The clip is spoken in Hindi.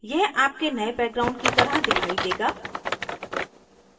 यह आपके नए background की तरह दिखाई देगा